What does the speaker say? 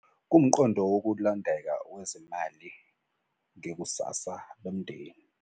Kuwumqondo wokulondeka wezimali ngekusasa lomndeni.